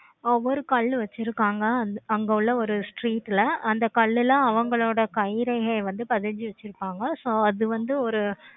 ஒவ்வொரு கல்லு வச்சிருக்காங்க. அங்க உள்ள ஒரு street ல அந்த கல்லு எலாம் அவங்களோட கைரேகையை வந்து பதிஞ்சி வச்சிருப்பாங்க. so அது வந்து ஒரு